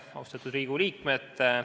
Austatud Riigikogu liikmed!